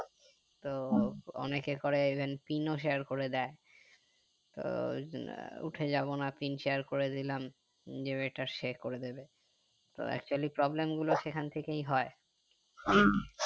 তো অনেকে করে event pin ও share করে দেয় তো উম উঠে যাবো না pin share করে দিলাম যে ওটা সে করে দেবে তো actually problem গুলো সেখান থেকেই হয়